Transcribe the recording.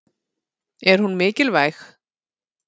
Er hún mikilvæg?